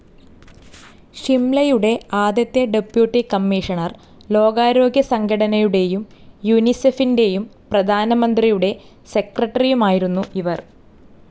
ഷിംലയുടെ ആദ്യത്തെ deputy commissioner, ലോകാരോഗ്യസംഘടനനയുടെയും യുനിസെഫിന്റെയും പ്രധാനമന്ത്രിയുടെ സെക്രട്ടറിയുമായിരുന്നു ഇവർ.